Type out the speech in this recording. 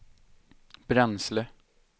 bränsle